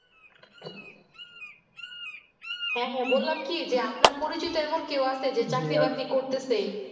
হ্যাঁ হ্যাঁ বললাম কি যে আপনার পরিচিত এমন কেও আছে যে বাকরি করতেছে